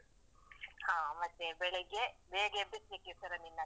ಹಾ ಮತ್ತೆ ಬೆಳಿಗ್ಗೆ ಬೇಗ್ ಎಬ್ಬಿಸ್ಲಿಕ್ಕಿರ್ತದೆ ನಿನ್ನನ್ನು.